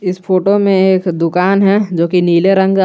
इस फोटो में एक दुकान है जो की नीले रंग का--